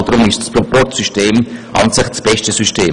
Deshalb ist das Proporzsystem eigentlich das beste System.